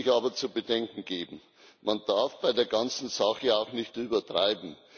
Eines möchte ich aber zu bedenken geben Man darf bei der ganzen Sache auch nicht übertreiben.